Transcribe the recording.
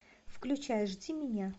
включай жди меня